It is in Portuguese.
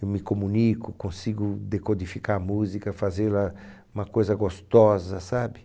Eu me comunico, consigo decodificar a música, fazê-la uma coisa gostosa, sabe?